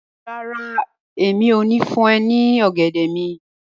Rara, Emi o ni fun ọ ni ogẹdẹ mi